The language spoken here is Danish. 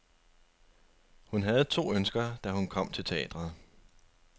Hun havde to ønsker, da hun kom til teatret.